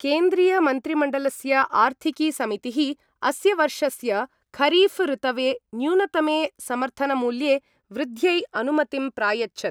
केन्द्रीय-मन्त्रिमण्डलस्य आर्थिकी समितिः अस्य वर्षस्य खरीफ ऋतवे न्यूनतमे समर्थन-मूल्ये वृद्ध्यै अनुमतिं प्रायच्छत्।